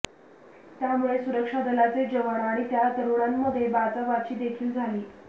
त्यामुळे सुरक्षा दलाचे जवान आणि त्या तरुणांमध्ये बाचाबाची देखील झाली